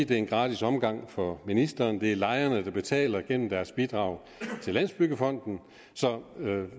det er en gratis omgang for ministeren det er lejerne der betaler gennem deres bidrag til landsbyggefonden så